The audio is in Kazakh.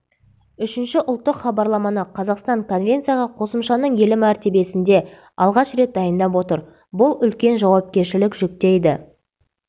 үшінші ұлттық хабарламаны қазақстан конвенцияға қосымшаның елі мәртебесінде алғаш рет дайындап отыр бұл үлкен жауапкершілік жүктейді